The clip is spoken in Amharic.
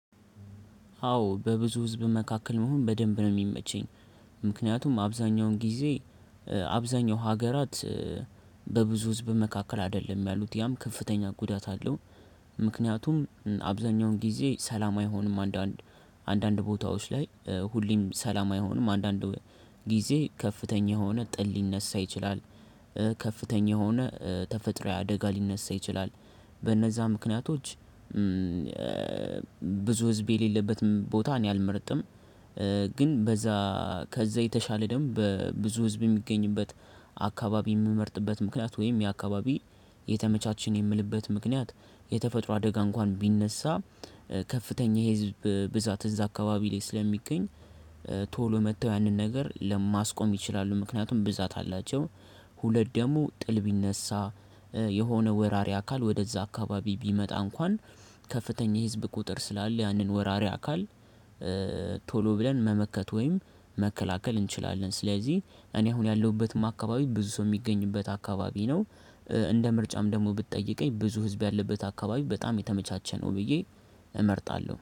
አዎ በብዙ ህዝብ መካከል መሆን በደንብ ነው የሚመቸኝ። ምክንያቱም አብዛኛውን ጊዜ አብዛኛው ሀገራት በብዙ ህዝብ መካከል አይደለም ያሉት ያም ከፍተኛ ጉዳት አለው። ምክንያቱም አብዛኛውን ጊዜ ሰላም አይሆንም አንዳንድ አንዳንድ ቦታዎች ላይ ሁሌም ሰላም አይሆንም አንዳንድ ጊዜ ከፍተኛ የሆነ ጥል ሊነሳ ይችላል ከፍተኛ የሆነ ተፈጥሮአዊ አደጋ ሊነሳ ይችላል በነዛ ምክንያቶች ብዙ ህዝብ የሌለበት ቦታ እኔ አልመርጥም ግን በዛ ከዛ የተሻለ ደግሞ ብዙ ህዝብ የሚገኝበት አካባቢ የምመርጥበት ምክንያት ወይም የአካባቢ የተመቻቸ ነው የምልበት ምክንያት የተፈጥሮ አደጋ እንኳን ቢነሳ ከፍተኛ የህዝብ ብዛት እዛ አካባቢ ላይ ስለሚገኝ ቶሎ መተው ያንን ነገር ለማስቆም ይችላሉ ምክንያቱም ብዛት አላቸው ሁለት ደግሞ ጥል ቢነሳ የሆነ ወራሪ አካል ወደዛ አካባቢ ቢመጣ እንኳን ከፍተኛ የህዝብ ቁጥር ስላለ ያንን ወራሪ አካል ቶሎ ብለን መመከት ወይም መከላከል እንችላለን። ስለዚህ እኔ አሁን ያለሁበትም አካባቢ ብዙ ሰው የሚገኝበት አካባቢ ነው እንደ ምርጫም ደግሞ ብትጠይቀኝ ብዙ ህዝብ ያለበት አካባቢ በጣም የተመቻቸ ነው ብዬ እመርጣለሁ።